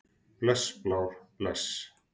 Bless Blár, bless.